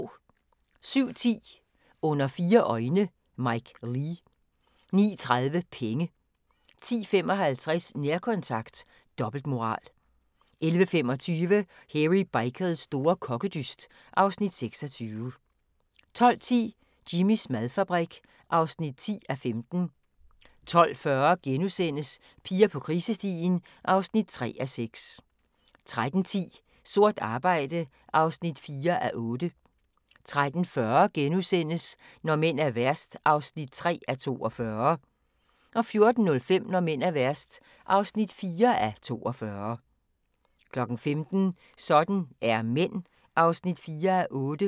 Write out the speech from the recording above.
07:10: Under fire øjne – Mike Leigh 09:30: Penge 10:55: Nærkontakt – dobbeltmoral 11:25: Hairy Bikers store kokkedyst (Afs. 26) 12:10: Jimmys madfabrik (10:15) 12:40: Piger på krisestien (3:6)* 13:10: Sort arbejde (4:8) 13:40: Når mænd er værst (3:42)* 14:05: Når mænd er værst (4:42) 15:00: Sådan er mænd (4:8)